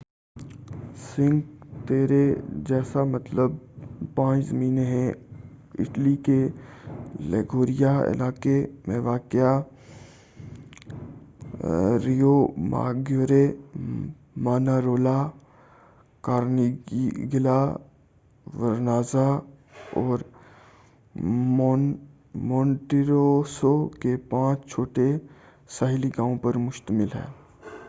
sink Terre جسکا مطلب پانچ زمینیں ہیں اٹلی کے لیگوریا علاقے میں واقع ریوماگیورے مانارولا کارنیگلیہ ورنازا اور مونٹیروسو کے پانچ چھوٹے ساحلی گاؤں پر مشتمل ہے